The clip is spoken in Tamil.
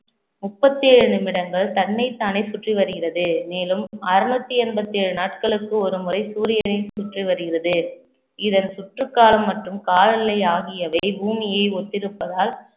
முப்பத்தி ஏழு நிமிடங்கள் தன்னைத்தானே சுற்றி வருகிறது மேலும் அறுநூத்தி எண்பத்தி ஏழு நாட்களுக்கு ஒருமுறை சூரியனை சுற்றி வருகிறது இதன் சுற்று காலம் மற்றும் காலநிலை ஆகியவை பூமியை ஒத்திருப்பதால்